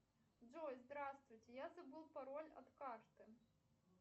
джой здравствуйте я забыл пароль от карты